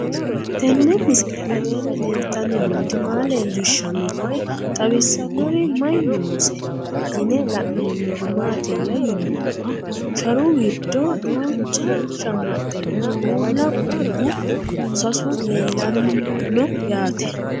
Tenni misile aleenni leelittanni nootti maa leelishshanno woy xawisannori may noosse yinne la'neemmori maattiya yinummoro sharu giddo duuchcha shamaxxenna uulla qunbu sasu leelanno yaatte